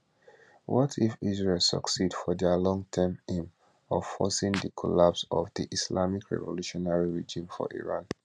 what if israel succeed for dia long term aim of forcing di collapse of di islamic revolutionary regime for iran